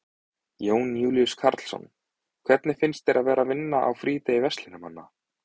Jón Júlíus Karlsson: Hvernig finnst þér að vera að vinna á frídegi verslunarmanna?